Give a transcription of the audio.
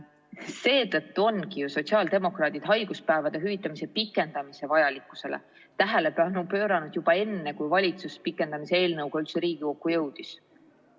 Seetõttu ongi ju sotsiaaldemokraadid haiguspäevade hüvitamise pikendamise vajalikkusele tähelepanu pööranud juba enne, kui valitsus pikendamise eelnõuga üldse Riigikokku jõudis.